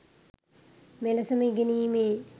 මෙලෙසම ඉගෙනීමේ